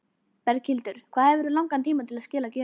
Berghildur: Hvað hefurðu langan tíma til að skila gjöfinni?